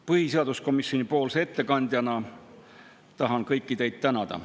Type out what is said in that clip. Põhiseaduskomisjoni ettekandjana tahan kõiki teid tänada.